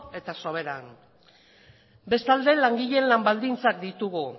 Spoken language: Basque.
eta soberan bestalde langileen lan baldintzak ditugu